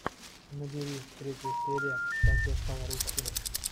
набери третья серия как я стал русским